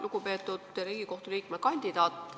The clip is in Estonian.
Lugupeetud Riigikohtu liikme kandidaat!